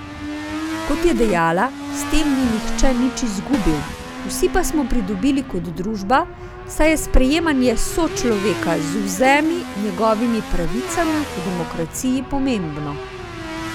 Kot je dejala, s tem ni nihče nič izgubil, vsi pa smo pridobili kot družba, saj je sprejemanje sočloveka z vzemi njegovimi pravicami v demokraciji pomembno.